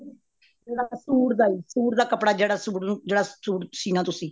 ਜਿਹੜਾ ਸੂਟ ਦਾ ਜੀ ਸੂਟ ਦਾ ਕੱਪੜਾ ਜਿਹੜਾ ਸੂਟ ਨੂੰ ਜਿਹੜਾ ਸੂਟ ਸੀਨਾ ਤੁਸੀਂ